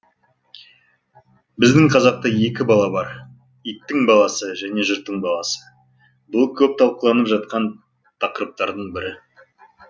біздің қазақта екі бала бар иттің баласы және жұрттың баласы бұл көп талқыланып жатқан тақырыптардың бірі